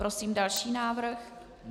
Prosím další návrh.